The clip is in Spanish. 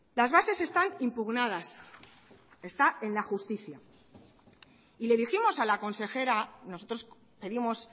las bases están impugnadas está en la justicia y le dijimos a la consejera nosotros pedimos